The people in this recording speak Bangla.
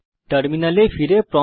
টার্মিনালে ফিরে আসি